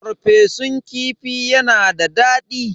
Farfesun kifi yana da daɗi.